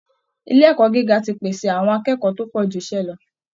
ilé ẹ̀kọ́ gíga ti pèsè àwọn akẹ́kọ̀ọ́ tó pọ̀ ju iṣẹ́ lọ